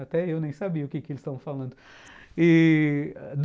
Até eu nem sabia o que que eles estavam falando. E...